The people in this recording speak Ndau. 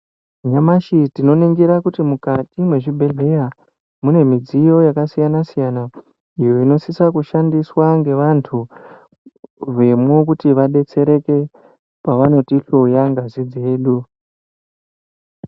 Nyamashi tinoningira kuti mukati mwezvibhedhleya mune midziyo yakasiyana-siyana, iyo inosiso kushandiswa ngevantu vemwo kuti vabetsereke, pavanotihloya ngazi dzedu.